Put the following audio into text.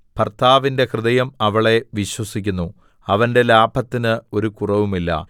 ഭർത്താവിന്റെ ഹൃദയം അവളെ വിശ്വസിക്കുന്നു അവന്റെ ലാഭത്തിന് ഒരു കുറവുമില്ല